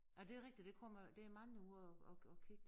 Ja det er rigtigt der kommer der er mange ude og og ig kigge